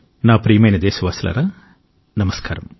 నా ప్రియమైన దేశవాసులారా నమస్కారం